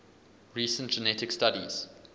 recent genetic studies